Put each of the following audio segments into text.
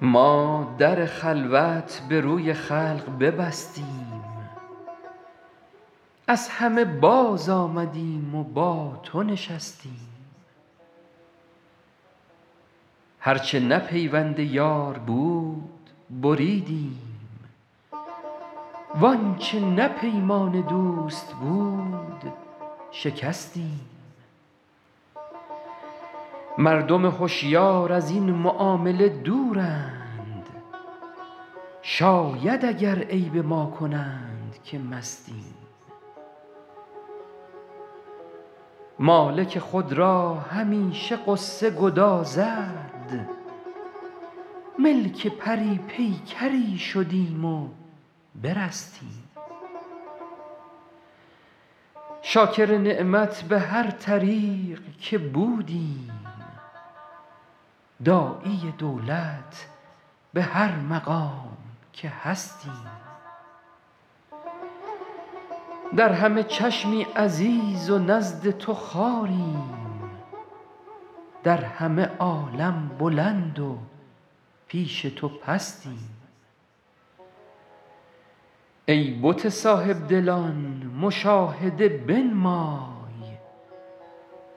ما در خلوت به روی خلق ببستیم از همه بازآمدیم و با تو نشستیم هر چه نه پیوند یار بود بریدیم وآنچه نه پیمان دوست بود شکستیم مردم هشیار از این معامله دورند شاید اگر عیب ما کنند که مستیم مالک خود را همیشه غصه گدازد ملک پری پیکری شدیم و برستیم شاکر نعمت به هر طریق که بودیم داعی دولت به هر مقام که هستیم در همه چشمی عزیز و نزد تو خواریم در همه عالم بلند و پیش تو پستیم ای بت صاحب دلان مشاهده بنمای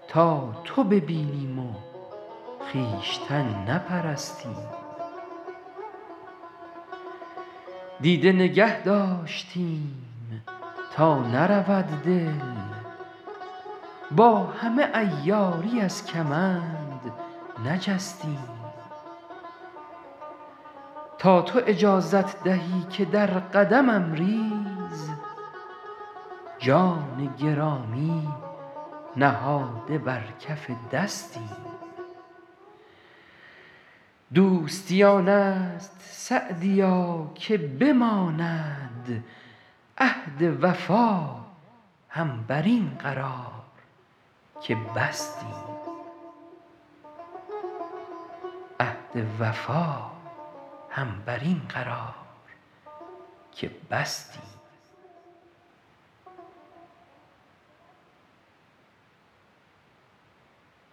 تا تو ببینیم و خویشتن نپرستیم دیده نگه داشتیم تا نرود دل با همه عیاری از کمند نجستیم تا تو اجازت دهی که در قدمم ریز جان گرامی نهاده بر کف دستیم دوستی آن است سعدیا که بماند عهد وفا هم بر این قرار که بستیم